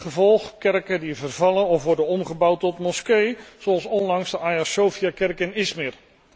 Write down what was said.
Gevolg kerken die vervallen of worden omgebouwd tot moskee, zoals onlangs de Aya Sophia kerk in Izmir.